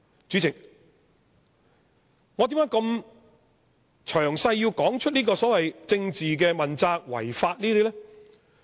主席，我為何要這麼詳細地談論這些所謂政治問責、違法等事情？